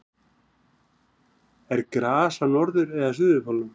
er gras á norður eða suðurpólnum